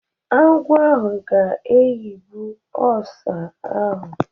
Agwọ ahụ ga-ayigbụ ọsá ahu.